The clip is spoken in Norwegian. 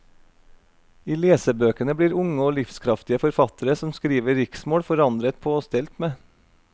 I lesebøkene blir unge og livskraftige forfattere som skriver riksmål forandret på og stelt med.